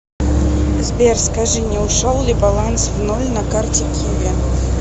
сбер скажи не ушел ли баланс в ноль на карте киви